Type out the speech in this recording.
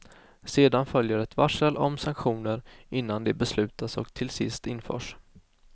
Sedan följer ett varsel om sanktioner innan de beslutas och till sist införs.